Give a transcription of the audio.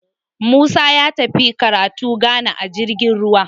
Musa ya tafi karatu Ghana a jirgin ruwa